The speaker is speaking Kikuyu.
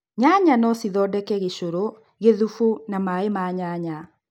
Nyanya no cithondeke gĩshũrũ, gĩthubu na maĩĩ ma nyanya